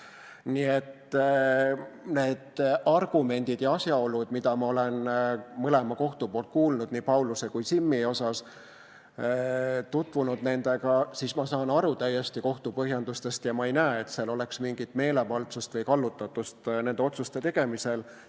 Nii et need argumendid ja asjaolud, mida ma olen mõlema, nii Pauluse kui ka Simmi kohta kohtult kuulnud, olles tutvunud nendega, ma saan täiesti aru kohtu põhjendustest ja ma ei näe, et seal oleks mingit meelevaldsust või kallutatust nende otsuste tegemisel.